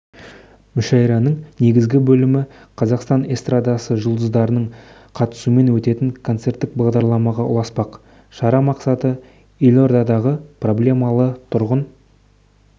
мүшәйраның негізгі бөлімі қазақстан эстрадасы жұлдыздарының қатысуымен өтетін концерттік бағдарламаға ұласпақ шара мақсаты елордадағы проблемалы тұрғын